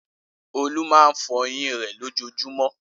Olú máa fọyín rẹ̀ lójoojúmọ́.